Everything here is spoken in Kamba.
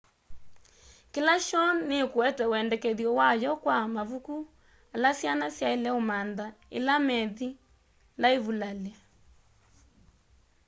kila shoo nikuete wendekethyo wayo kwa mavuku ala syana syaile umantha ila methi laivulali